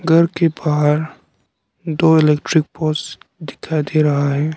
घर के बाहर दो इलेक्ट्रिक पोल्स दिखाई दे रहा है।